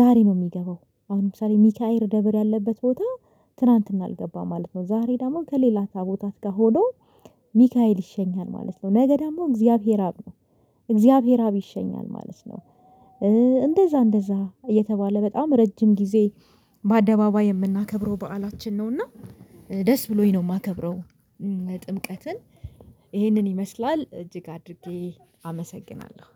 ዛሬ ነው የሚገባው አሁን ለምሳሌ ሚካኤል ደብር ያለበት ቦታ ትላንትና አልገባም ማለት ነው። ዛሬ ደግሞ ከሌላ ታቦታት ጋር ሆኖ ሚካኤል ይሸኛል ማለት ነው። ነገ ደግሞ እግዚአብሔር አብ ነው። እግዚአብሔር አብ ይሸኛል ማለት ነው። እንደዛ እንደዛ የተባለ በጣም ረጅም ጊዜ በአደባባይ የምናከብረው በዓላችን ነው። እና ደስ ብሎኝ ነው የማከብረው። ጥምቀትን ይህንን ይመስላል እጅግ አድርጌ አመሰግናለሁ።